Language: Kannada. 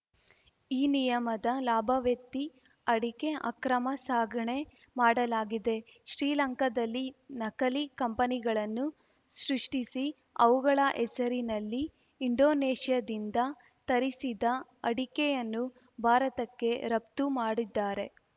ಈ ನಿಯಮದ ಲಾಭವೆತ್ತಿ ಅಡಿಕೆ ಅಕ್ರಮ ಸಾಗಣೆ ಮಾಡಲಾಗಿದೆ ಶ್ರೀಲಂಕಾದಲ್ಲಿ ನಕಲಿ ಕಂಪನಿಗಳನ್ನು ಸೃಷ್ಟಿಸಿ ಅವುಗಳ ಹೆಸರಿನಲ್ಲಿ ಇಂಡೋನೇಷ್ಯಾದಿಂದ ತರಿಸಿದ ಅಡಿಕೆಯನ್ನು ಭಾರತಕ್ಕೆ ರಫ್ತು ಮಾಡಿದ್ದಾರೆ